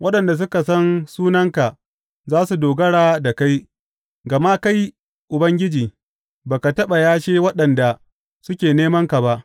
Waɗanda suka san sunanka za su dogara da kai, gama kai, Ubangiji, ba ka taɓa yashe waɗanda suke nemanka ba.